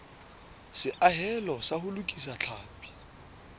seahelo sa ho lokisa tlhapi